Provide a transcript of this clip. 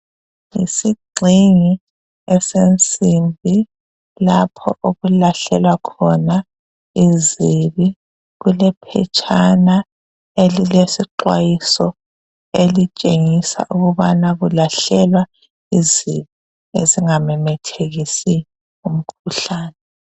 Isigxhingi esensimbi lapho okulahlelwa khona izibi kulephetshana elilesixwayiso elitshengisa ukubana kulahlelwa izibi ezingamemethekisi umkhuhlane.